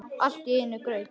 Allt í einum graut.